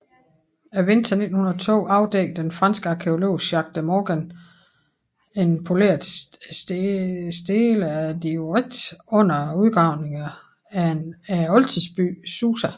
Vinteren 1902 afdækkede den franske arkæolog Jacques de Morgan en poleret stele af diorit under udgravningerne af oldtidsbyen Susa